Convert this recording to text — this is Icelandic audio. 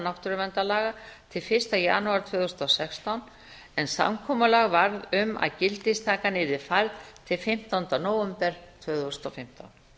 náttúruverndarlaga til fyrsta janúar tvö þúsund og sextán en samkomulag varð um að gildistakan yrði færð til fimmtánda nóvember tvö þúsund og fimmtán